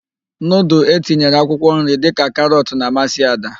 Nudul etinyere akwụkwọnri dịka karọt na-amasị Ada.